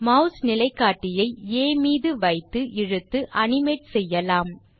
mass நிலைக்காட்டியை ஆ மீது வைத்து இழுத்து அனிமேட் செய்யலாம்